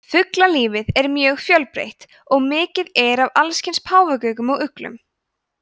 fuglalífið er mjög fjölbreytt og mikið er af allskyns páfagaukum og uglum